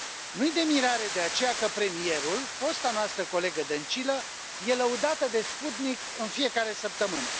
Nu i de mirare, de aceea, că premierul, fosta noastră colegă Dăncilă, e lăudată de Sputnik în fiecare săptămână.